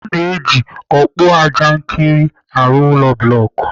A na-eji ọkpụajankịrị arụ ụlọ blọk.